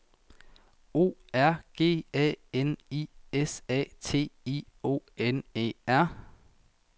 O R G A N I S A T I O N E R